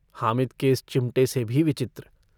हामिद के इस चिमटे से भी विचित्र।